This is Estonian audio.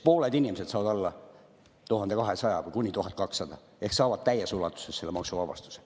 Pooled inimesed saavad alla 1200 ehk kuni 1200 ehk saavad täies ulatuses maksuvabastuse.